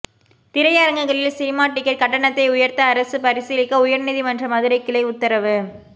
திரையரங்குகளில் cinema ticket கட்டணத்தை உயர்த்த அரசு பரிசீலிக்க உயர்நீதிமன்ற மதுரை கிளை உத்தரவு